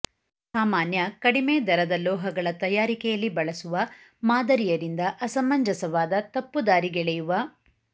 ಸಾಮಾನ್ಯ ಕಡಿಮೆ ದರದ ಲೋಹಗಳ ತಯಾರಿಕೆಯಲ್ಲಿ ಬಳಸುವ ಮಾದರಿಯ ರಿಂದ ಅಸಮಂಜಸವಾದ ತಪ್ಪುದಾರಿಗೆಳೆಯುವ